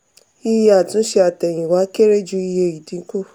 iye àtúnṣe àtẹ̀yìnwá kere ju iye ìdínkù.